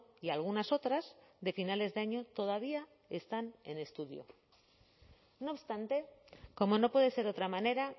y algunas otras de finales de año todavía están en estudio no obstante como no puede ser de otra manera